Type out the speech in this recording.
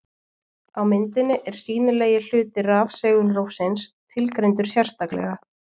á myndinni er sýnilegi hluti rafsegulrófsins tilgreindur sérstaklega